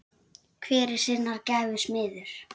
Hver er sinnar gæfu smiður